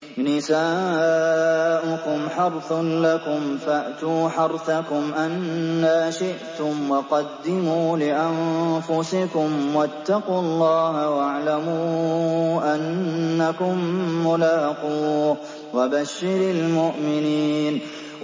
نِسَاؤُكُمْ حَرْثٌ لَّكُمْ فَأْتُوا حَرْثَكُمْ أَنَّىٰ شِئْتُمْ ۖ وَقَدِّمُوا لِأَنفُسِكُمْ ۚ وَاتَّقُوا اللَّهَ وَاعْلَمُوا أَنَّكُم مُّلَاقُوهُ ۗ وَبَشِّرِ الْمُؤْمِنِينَ